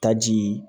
Taji